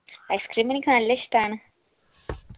icecream എനിക്ക് നല്ലിഷ്ടാണ്